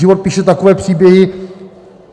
Život píše takové příběhy...